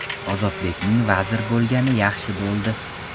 Ozodbekning vazir bo‘lgani yaxshi bo‘ldi.